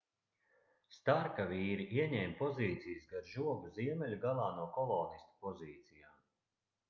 starka vīri ieņēma pozīcijas gar žogu ziemeļu galā no kolonistu pozīcijām